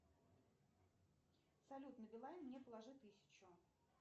салют на билайн мне положи тысячу